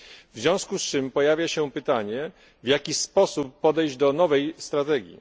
W związku z czym pojawia się pytanie, w jaki sposób podejść do nowej strategii.